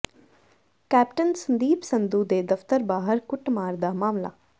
captain Sandeep Sandhu ਦੇ ਦਫਤਰ ਬਾਹਰ ਕੁੱਟਮਾਰ ਦਾ ਮਾਮਲਾ